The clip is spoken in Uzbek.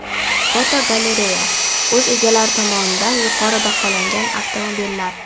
Fotogalereya: O‘z egalari tomonidan yuqori baholangan avtomobillar.